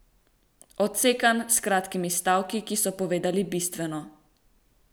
Odsekan, s kratkimi stavki, ki so povedali bistveno.